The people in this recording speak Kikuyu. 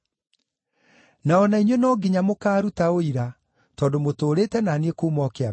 Na o na inyuĩ no nginya mũkaaruta ũira, tondũ mũtũũrĩte na niĩ kuuma o kĩambĩrĩria.